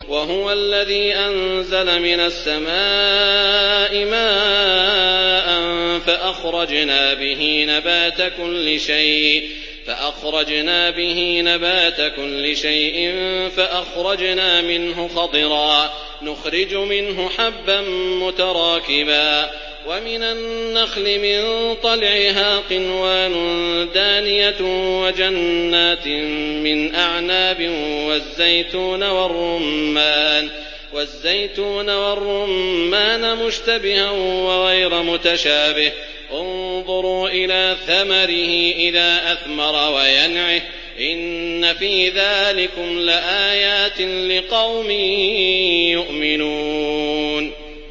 وَهُوَ الَّذِي أَنزَلَ مِنَ السَّمَاءِ مَاءً فَأَخْرَجْنَا بِهِ نَبَاتَ كُلِّ شَيْءٍ فَأَخْرَجْنَا مِنْهُ خَضِرًا نُّخْرِجُ مِنْهُ حَبًّا مُّتَرَاكِبًا وَمِنَ النَّخْلِ مِن طَلْعِهَا قِنْوَانٌ دَانِيَةٌ وَجَنَّاتٍ مِّنْ أَعْنَابٍ وَالزَّيْتُونَ وَالرُّمَّانَ مُشْتَبِهًا وَغَيْرَ مُتَشَابِهٍ ۗ انظُرُوا إِلَىٰ ثَمَرِهِ إِذَا أَثْمَرَ وَيَنْعِهِ ۚ إِنَّ فِي ذَٰلِكُمْ لَآيَاتٍ لِّقَوْمٍ يُؤْمِنُونَ